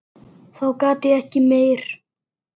Þá gat ég ekki meir.